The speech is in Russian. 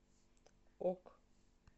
ок